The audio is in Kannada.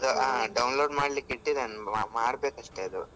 download ಮಾಡ್ಲಿಕ್ಕೆ ಇಟ್ಟಿದೆನೆ ಮಾಡ್ಬೇಕು ಅಷ್ಟೆ ಅದು.